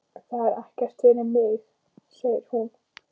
Það er ekkert fyrir mig, segir hún.